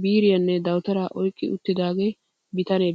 biiriyanne dawutaraa oyqqi uttida bitanee beettees.